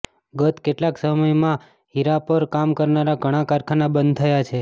ગત કેટલાક સમયમાં હીરા પર કામ કરનારા ઘણા કારખાના બંધ થયા છે